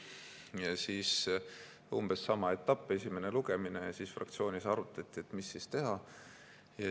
Ja siis oli umbes sama etapp, esimene lugemine ja fraktsioonis arutati, mis siis teha.